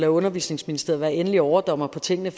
undervisningsministeriet være endelig overdommer på tingene